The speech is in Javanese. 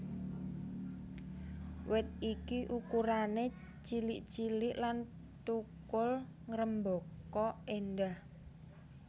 Wit iki ukurané cilik cilik lan thukul ngrêmbaka éndah